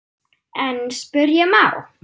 En spyrja má?